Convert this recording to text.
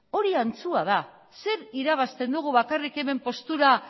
hori antzua da zer irabazten dugu bakarrik hemen postura